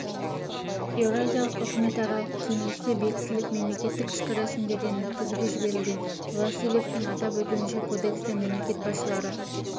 еуразиялық үкіметаралық кеңесте бекітіліп мемлекеттік ішкі рәсімдерден өткізуге жіберілген васильевтің атап өтуінше кодекске мемлекет басшылары